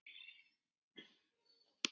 Þetta mun taka langan tíma.